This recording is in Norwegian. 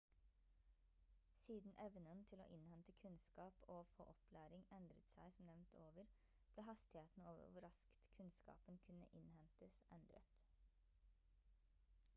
siden evnen til å innhente kunnskap og å få opplæring endret seg som nevnt over ble hastigheten over hvor raskt kunnskapen kunne innhentes endret